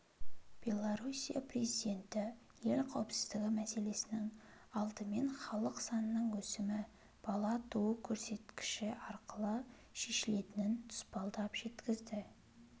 белоруссия президенті ел қауіпсіздігі мәселесінің алдымен халық санының өсімі бала туу көрсеткіші арқылы шешілетінін тұспалдап жеткізді